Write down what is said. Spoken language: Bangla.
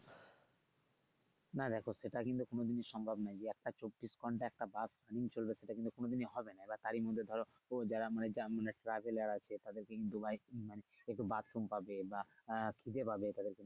না দেখো সেটা কিন্তু কোনদিনই সম্ভব না যে একটা চব্বিশ ঘণ্টা একটা বাস চলবে সেটা কিন্তু কোনদিনই হবে না বা গাড়ির মধ্যে ধরো কোন যারা মানে traveller আছে তাদেরকে কিন্তু মানে bathroom পাবে বা আহ ক্ষিদে পাবে, তাদেরকে নিয়ে।